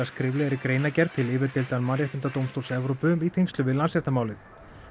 skriflegri greinargerð til yfirdeildar Mannréttindadómstóls Evrópu í tengslum við Landsréttarmálið